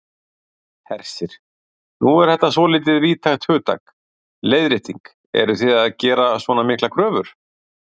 Hersir: Nú er þetta svolítið víðtækt hugtak, leiðrétting, eruð þið að gera svona miklar kröfur?